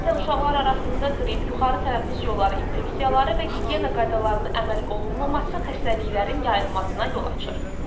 Adətən uşaqlar arasında qrip, yuxarı tənəffüs yolları infeksiyaları və gigiyena qaydalarına əməl olunmaması xəstəliklərin yayılmasına yol açır.